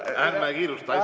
Ärme kiirustame.